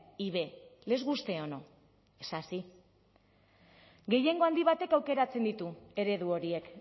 y b les guste o no es así gehiengo handi batek aukeratzen ditu eredu horiek